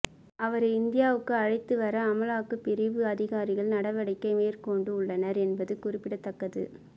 அவரை இந்தியாவுக்கு அழைத்து வர அமுலாக்க பிரிவு அதிகாரிகள் நடவடிக்கை மேற்கொண்டு உள்ளனர் என்பது குறிப்பிடத்தக்கது